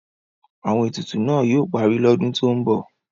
Àwọn etutu náà yóò parí lọ́dún tó ń bọ̀.